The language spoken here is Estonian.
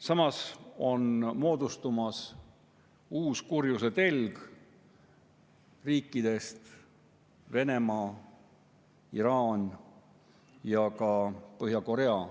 Samas on moodustumas uus kurjuse telg: Venemaa, Iraan ja ka Põhja-Korea.